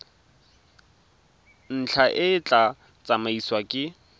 ntlha e tla tsamaisiwa ke